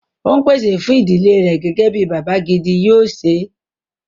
O ń pèsè fún ìdílé rẹ̀ gẹ́gẹ́ bí bàbá gidi yóò ṣẹ